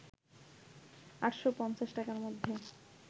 ৮৫০ টাকার মধ্যে